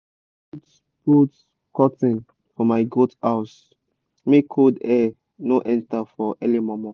i put put curtin for my goat house make cold air no enter for early mor mor